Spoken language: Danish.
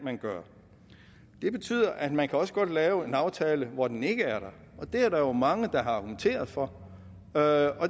gøre det betyder at man også godt kan lave en aftale hvor den ikke er der og det er der jo mange der har argumenteret for og